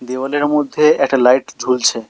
দেওয়ালের মধ্যে একটা লাইট ঝুলছে।